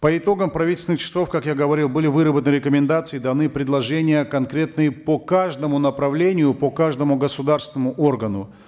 по итогам правительственных часов как я говорил были выработаны рекомендации даны предложения конкретные по каждому направлению по каждому государственному органу